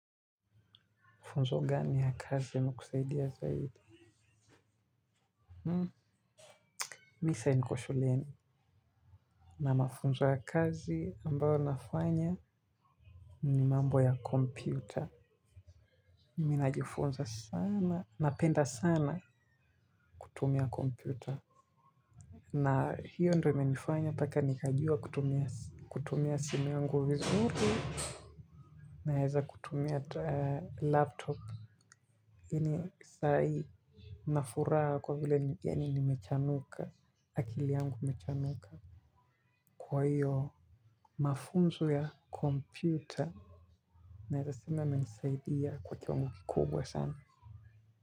Funzo gani ya kazi imekusaidia zaidi. Mimi saa hii niko shuleni. Na mafunzo ya kazi ambayo nafanya ni mambo ya kompyuta. Ninajifunza sana. Napenda sana kutumia kompyuta. Na hiyo ndiyo imenifanya. Mpaka nikajua kutumia simu yangu vizuri. Naweza kutumia laptop. Lakini saa hii nina furaha kwa vile yaani nimechanuka. Akili yangu imechanuka. Kwa hiyo mafunzo ya kompyuta naweza sema yamenisaidia kwa kiwango kikubwa sana.